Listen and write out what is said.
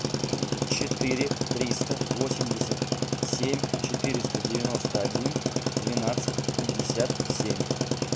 четыре триста восемьдесят семь четыреста девяносто один двенадцать пятьдесят семь